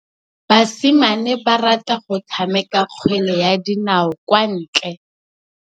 Basimane ba rata go tshameka kgwele ya dinaô kwa ntle.